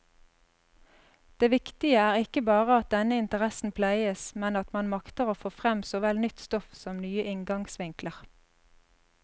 Det viktige er ikke bare at denne interessen pleies, men at man makter få frem såvel nytt stoff som nye inngangsvinkler.